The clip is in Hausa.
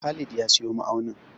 Khalid ya siyo ma'aunin.